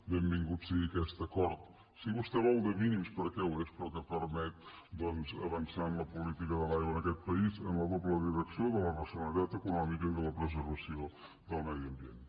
benvingut sigui aquest acord si vostè ho vol de mínims perquè ho és però que permet doncs avançar en la política de l’aigua en aquest país en la doble direcció de la racionalitat econòmica i de la preservació del medi ambient